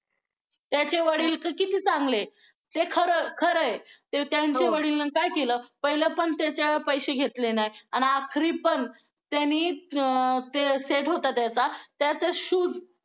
त्याचे वडील तर किती चांगले ते खरं आहे त्यांचं वडीलनं काय केलं पहिलंपण त्याच्यात पैसे घेतले नाही अन आखरीपण त्यांनी अं ते set होता त्याचा त्याचं shoe